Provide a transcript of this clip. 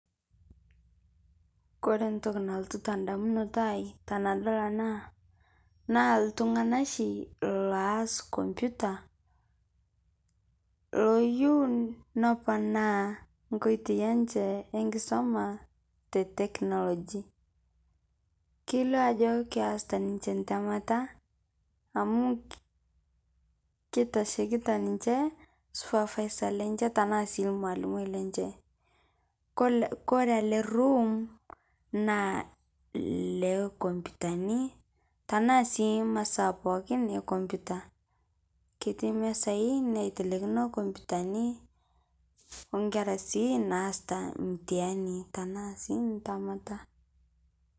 Koree ntoki nalotu tendamunoto aai tenadol ena toki naa ltungak shi laas computer loiyiuu nepanaa nkoitoi enche enkisuma te technology kelioo ajo keasita ninche entemata amu keitashekita ninche supervisor lenche tenaa sii rmwalimui lunches korre ele room naa Lee computani tanaa sii masaa pookin ee computer ketii mesai naitelekino compute oo nkerra sii naasita mtihani tenaa sii ntemata.